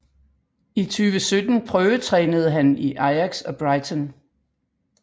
I 2017 prøvetrænede han i Ajax og Brighton